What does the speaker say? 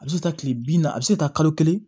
A bɛ se ka taa tile bi naani a bɛ se ka taa kalo kelen